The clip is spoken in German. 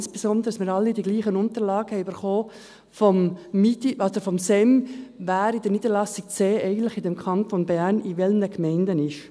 Dies insbesondere, weil wir alle dieselben Unterlagen vom Staatssekretariat für Migration (SEM) erhalten haben, wer mit Niederlassung C im Kanton Bern in welchen Gemeinden ist.